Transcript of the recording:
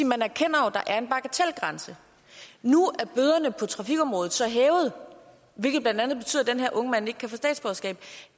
man erkender at der er en bagatelgrænse nu er bøderne på trafikområdet så blevet hævet hvilket blandt andet betyder at den her unge mand ikke kan få statsborgerskab